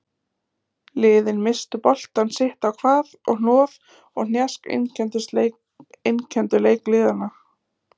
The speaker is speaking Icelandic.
Liðin misstu boltann sitt á hvað og hnoð og hnjask einkenndu leik liðanna.